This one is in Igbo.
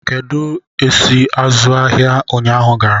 Kedu ka esi azụ ahịa ụnyaahụ gara?